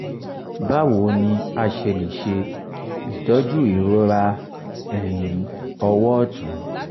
báwo ni a ṣe lè se itoju irora eyin owo ọ̀tún?